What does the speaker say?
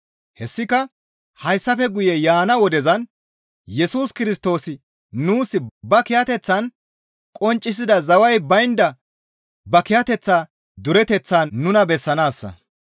Hessika hayssafe guye yaana wodezan Yesus Kirstoosi nuus ba kiyateththan qonccisida zaway baynda ba kiyateththa dureteththaa nuna bessanaassa.